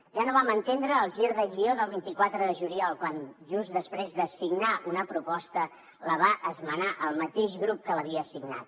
ja no vam entendre el gir de guió del vint quatre de juliol quan just després de signar una proposta la va esmenar el mateix grup que l’havia signat